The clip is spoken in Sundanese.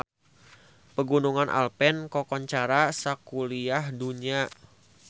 Pegunungan Alpen kakoncara sakuliah dunya